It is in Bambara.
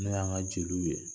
N'o y'an ka jeliw ye